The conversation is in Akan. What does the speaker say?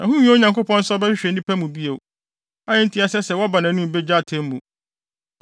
Ɛho nhia Onyankopɔn sɛ ɔbɛhwehwɛ nnipa mu bio, a enti ɛsɛ sɛ wɔba nʼanim begye atemmu.